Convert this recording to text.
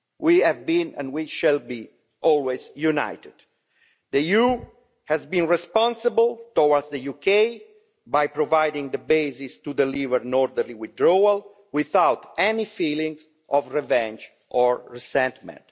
We have been and we shall be always united. The EU has been responsible towards the UK by providing the basis to deliver an orderly withdrawal without any feelings of revenge or resentment.